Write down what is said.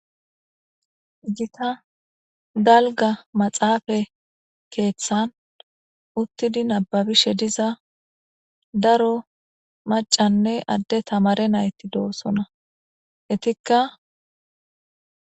Gita galga maxaafa keeththan uttidi nababishe diza daro macanne adde tamare nayti doosona hetikka,